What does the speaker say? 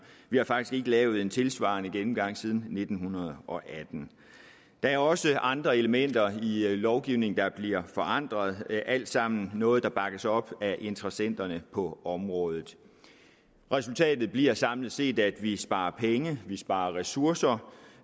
vi har faktisk ikke lavet en tilsvarende gennemgang siden nitten atten der er også andre elementer i lovgivningen der bliver forandret alt sammen noget der bakkes op af interessenterne på området resultatet bliver samlet set at vi sparer penge at vi sparer ressourcer